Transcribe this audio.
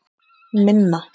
Minna